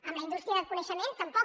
en la indústria del coneixement tampoc